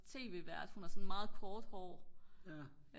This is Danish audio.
tv-vært hun har sådan meget kort hår